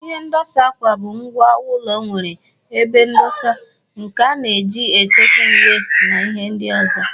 Ihe ndosa akwa bụ ngwá ụlọ nwere ebe ndosa nke a na-eji echekwa uwe na ihe ndị ọzọ